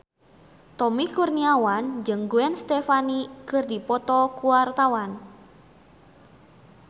Tommy Kurniawan jeung Gwen Stefani keur dipoto ku wartawan